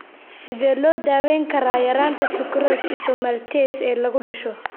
Sidee loo daweyn karaa yaraanta sucrase isomaltase (CSID) ee lagu dhasho?